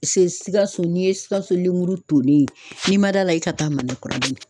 Si Sikaso n'i ye Sikaso lemuru tonen ye, n'i ma d'a la i ka taa Manakɔrɔ ba in.